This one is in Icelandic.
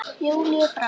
Júlíu frá.